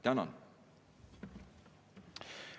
Tänan!